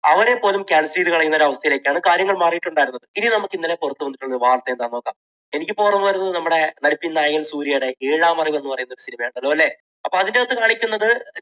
അവരെപ്പോലും ചെയ്തു കളയുന്ന ഒരവസ്ഥയിലേക്കാണ് കാര്യങ്ങൾ മാറിയിട്ടുണ്ടായിരുന്നത്. ഇനി നമുക്ക് ഇന്നലെ പുറത്തുവന്നിട്ടുള്ള ഒരു വാർത്ത എന്താണെന്നു നോക്കാം. എനിക്ക് ഇപ്പോൾ ഓർമ്മ വരുന്നത് നമ്മുടെ നടിപ്പിൻ നായകൻ സൂര്യയുടെ ഏഴാം അറിവ് എന്നു പറയുന്ന ഒരു cinema യാണ്. അതുപോലെ അപ്പോൾ അതിനകത്ത് കാണിക്കുന്നത്